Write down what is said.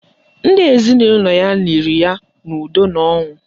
Ndị ezinụlọ ya liri ya n'udo na ọṅụ